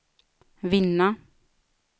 vinna